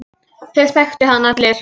Það þekktu hann allir.